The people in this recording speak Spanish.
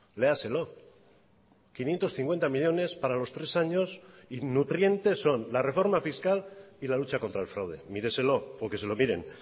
léaselo quinientos cincuenta millónes para los tres años y nutrientes son la reforma fiscal y la lucha contra el fraude míreselo o que se lo miren